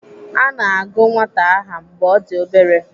Ana agụ nwata aha mgbe ọ dị obere.